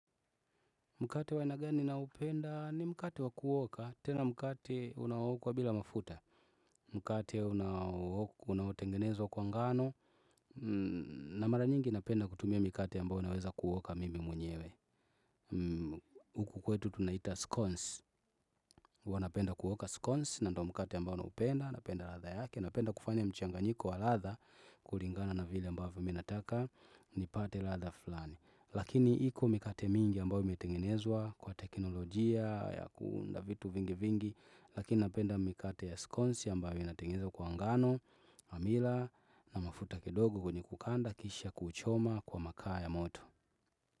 Mkate waina gani naupenda ni mkate wakuoka, tena mkate unawokwa bila mafuta. Mkate unawokuwa, unawotengenezwa kwa ngano. Na mara nyingi napenda kutumia mikate ambao naweza kuoka mimi mwenyewe. Huku kwetu tunaita scones. Wanapenda kuoka scones na ndo mkate ambao naupenda, napenda latha yake. Napenda kufanya mchanganyiko wa latha, kulingana na vile ambao mi nataka, nipate latha flani. Lakini hiko mikate mingi ambayo imetengenezwa kwa teknolojia ya kuunda vitu vingi vingi Lakini napenda mikate ya skonsi ambayo imetengenezwa kwa ngano hamila na mafuta kidogo kwenye kukanda kisha kuchoma kwa makaa ya moto.